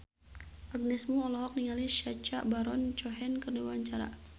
Agnes Mo olohok ningali Sacha Baron Cohen keur diwawancara